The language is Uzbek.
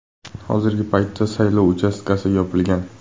Hozirgi paytda saylov uchastkasi yopilgan.